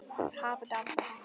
Er læst?